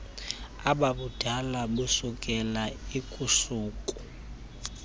ababudala busukela lkusuku